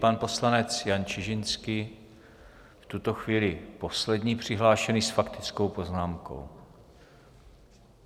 Pan poslanec Jan Čižinský, v tuto chvíli poslední přihlášení s faktickou poznámkou.